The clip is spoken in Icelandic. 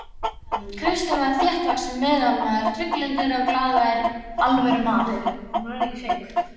Kristján var þéttvaxinn meðalmaður, trygglyndur og glaðvær alvörumaður.